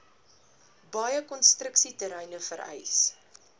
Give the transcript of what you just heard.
baie konstruksieterreine vereis